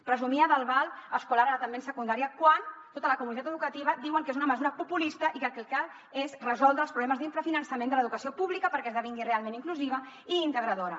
presumia del val escolar ara també en secundària quan tota la comunitat educativa diuen que és una mesura populista i que el que cal és resoldre els problemes d’infrafinançament de l’educació pública perquè esdevingui realment inclusiva i integradora